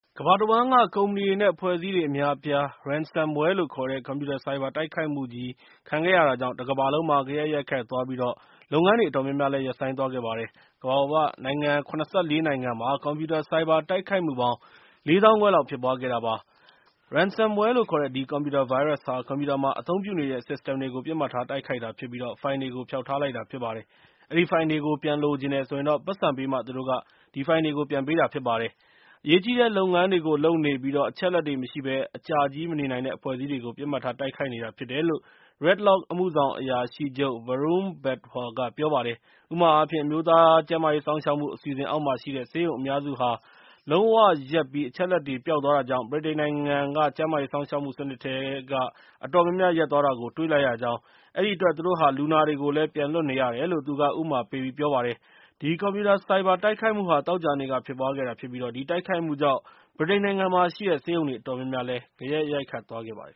ကမ္ဘာတဝှမ်းက ကုမ္ပဏီတွေ နဲ့ အဖွဲ့အစည်းတွေ အများအပြား ransomwareလို့ခေါ်တဲ့ကွန်ပျူတာဆိုက်ဘာ တိုက်ခိုက်မှုကြီးခံခဲ့ရတာကြောင့် တကမ္ဘာလုံးမှာ ဂယက်ရိုက်ခတ်သွားခဲ့ပြီး၊ လုပ်ငန်းတွေအတော်များများလည်း ရပ်ဆိုင်းသွားခဲ့ပါတယ်။ ကမ္ဘာပေါ်က နိုင်ငံ ၇၄ နိုင်ငံမှာ ကွန်ပျူတာဆိုက်ဘာတိုက်ခိုက်မှုပေါင်း ၄ သောင်းခွဲ လောက်ဖြစ်ပွားခဲ့တာပါ။ ransomware လို့ခေါ်တဲ့ ဒီကွန်ပျူတာဗိုင်းရပ်စ်ဟာ ကွန်ပျူတာမှာ အသုံးပြုတဲ့ System တွေ ပစ်မှတ်ထားတိုက်ခိုက်တာဖြစ်ပြီး ၊ ဖိုင်တွေကို ဖျောက်ထားလိုက်တာဖြစ်ပါတယ်။ အဲဒီဖိုင်တွေကို ပြန်လိုချင်တယ်ဆိုရင်တော့ ပိုက်ဆံပေးမှာ သူတို့က အဲဒီဖိုင်တွေကို ပြန်ပေးတာဖြစ်ပါတယ်။ အရေးကြီးတဲ့လုပ်ငန်းတွေကို လုပ်နေပြီး အချက်အလက်တွေမရှိဘဲ အကြားကြီးမနေနိုင်တဲ့ အဖွဲ့အစည်းတွေကို ပစ်မှတ်ထာ တိုက်ခိုက်နေတာဖြစ်တယ်လို့ Red Lock အမှုဆောင်အရာရှိချုပ် Varun Badhwar က ပြောပါတယ်။ ဥပမာအားဖြင့် အမျိုးသားကျန်းမာရေးစောင့်ရှောက်မှု အစီအစဉ်အောက်မှာရှိတဲ့ ဆေးရုံအများစုဟာ လုံးဝရပ်ပြီး၊ အချက်အလက်တွေ ပျောက်သွားတာကြောင့် ဗြိတိန်နိုင်ငံက ကျန်းမာရေးစောင့်ရှောက်မှုစနစ်ထဲက အတော်များများ ရပ်သွားတာကို တွေ့လိုက်ရကြောင်း၊ အဲဒီအတွက် သူတို့ဟာ လူနာတွေကိုလည်း ပြန်လွှတ်နေရတယ်လို့ ပြောပါတယ်။ ဒီကွန်ပျူတာ ဆိုက်ဘာတိုက်ခိုက်မှုဟာ သောကြာနေ့က ဖြစ်ပွားခဲ့တာဖြစ်ပြီး ၊ ဒီတိုက်ခိုက်မှုကြောင့် ဗြိတိန်နိုင်ငံမှာရှိတဲ့ ဆေးရုံတွေအတော်များများမှာလည်း ဂယက်ရိုက်ခတ်သွားခဲ့ပါတယ်